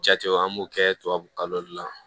Jatew an b'o kɛ tubabukalo de la